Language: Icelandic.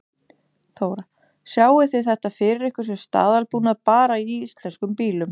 Þóra: Sjáið þið þetta fyrir ykkur sem staðalbúnað bara í íslenskum bílum?